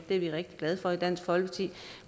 er vi rigtig glade for i dansk folkeparti